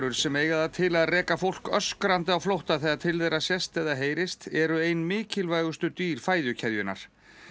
sem eiga það til að reka fólk öskrandi á flótta þegar til þeirra sést eða heyrist eru ein mikilvægustu dýr fæðukeðjunnar